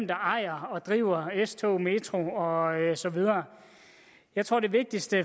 der ejer og driver s togene metroen og så videre jeg tror det vigtigste